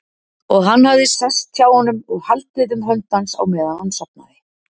Og hann hafði sest hjá honum og haldið um hönd hans á meðan hann sofnaði.